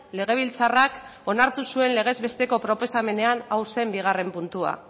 legebiltzarrak onartu zuen legez besteko proposamenean hau zen bigarren puntua